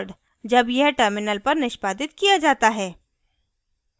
जब यह terminal पर निष्पादित किया जाता है